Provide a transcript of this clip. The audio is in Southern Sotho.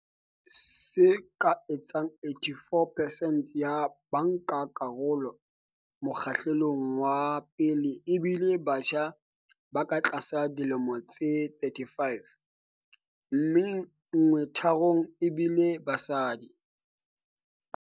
Se ka etsang 84 percent ya bankakarolo mokgahlelong wa pele e bile batjha ba ka tlasa dilemo tse 35, mme nngwe tharong ebile basadi.